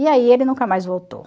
E aí ele nunca mais voltou.